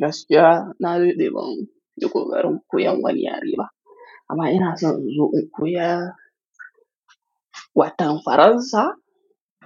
Gaskiya, na dade banyi kokarin koyan wani yare ba. Amma ina son in zo in koya watan Faransa